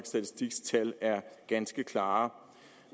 statistiks tal er ganske klare